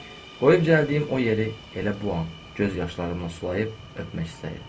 Qoyub gəldiyim o yeri elə bu an göz yaşlarımla sulayıb öpmək istəyirəm.